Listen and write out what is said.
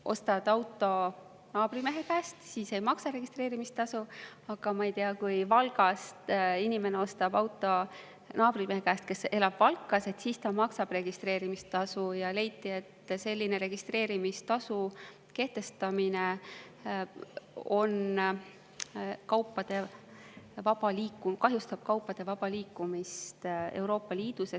Kui ostad auto naabrimehe käest, siis ei maksa registreerimistasu, aga, ma ei tea, kui inimene Valgast ostab auto naabrimehe käest, kes elab Valkas, siis ta maksab registreerimistasu – leiti, et selline registreerimistasu kehtestamine kahjustab kaupade vaba liikumist Euroopa Liidus.